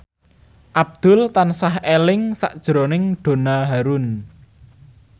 Abdul tansah eling sakjroning Donna Harun